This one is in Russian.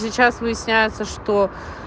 сейчас выясняется что